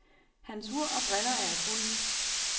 Hans ur og briller er af guld.